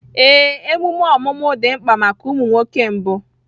Ee, emume ọmụmụ dị mkpa maka ụmụ nwoke mbụ